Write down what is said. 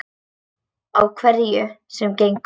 Á hverju sem gengur.